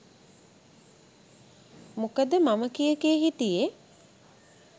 මොකද මම කිය කිය හිටියෙ